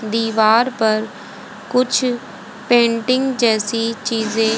दीवार पर कुछ पेंटिंग जैसी चीजें--